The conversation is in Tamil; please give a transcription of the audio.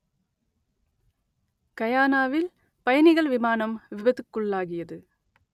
கயானாவில் பயணிகள் விமானம் விபத்துக்குள்ளாகியது